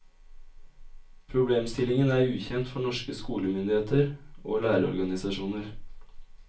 Problemstillingen er ukjent for norske skolemyndigheter og lærerorganisasjoner.